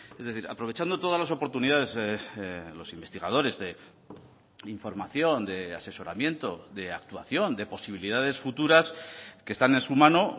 es decir aprovechando todas las oportunidades los investigadores de información de asesoramiento de actuación de posibilidades futuras que están en su mano